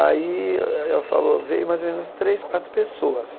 Aí ela falou, veio mais ou menos três, quatro pessoas.